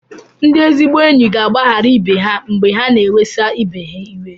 Ndị ezigbo enyi ga-agbaghara ibe ha mgbe ha na-ewesa ibe ha iwe.